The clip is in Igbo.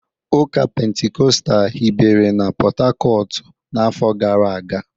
Ụka Pentikọstal hibere na Port-Harcourt n'afọ gara aga